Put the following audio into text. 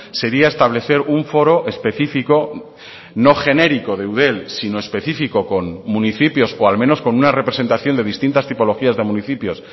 sería establecer un foro específico no genérico de eudel sino específico con municipios o al menos con una representación de distintas tipologías de municipios